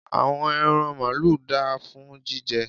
àwọn ẹran maalu da fún jíjẹ